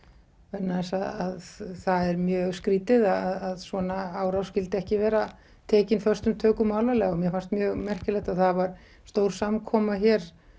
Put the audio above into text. vegna þess að það er mjög skrýtið að svona árás skyldi ekki vera tekin föstum tökum og alvarlega mér fannst mjög merkilegt að það var stór samkoma hér